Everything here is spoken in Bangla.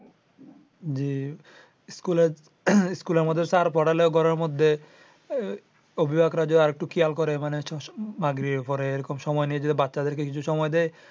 জি স্কুলের মধ্যে স্যার পড়ালেও ঘরের মধ্যে অভিভাবকরা যদি আরেকটু খেয়াল করে মানে মাগরিব পরে এরকম সময় নিজেদের বাচ্ছাদেরকে যদি সময় দেয়